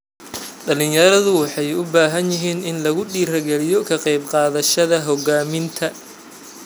Dhalinyaradu waxay u baahan yihiin in lagu dhiirigaliyo ka qayb qaadashada hogaaminta.